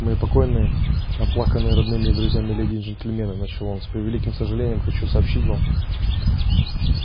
мои покойные оплаканные родными и друзьями леди и джентльмены начал он с превеликим сожалением хочу сообщить вам